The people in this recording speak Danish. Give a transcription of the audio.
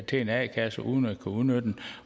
til en a kasse uden at kunne udnytte den